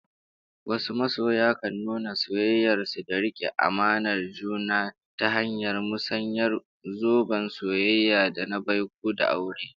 Wasu masoya kan nuna soyayyar su da rike amanar juna ta hanyar musayar zoben soyayya, da na baiko, da aure